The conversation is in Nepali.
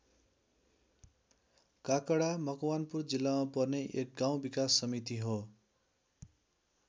काकडा मकवानपुर जिल्लामा पर्ने एक गाउँ विकास समिति हो।